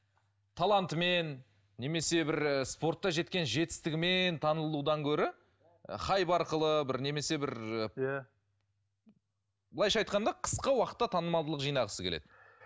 талантымен немесе бір спортта жеткен жетістігімен танылудан гөрі хайп арқылы бір немесе бір былайша айтқанда қысқа уақытта танымалдылық жинағысы келеді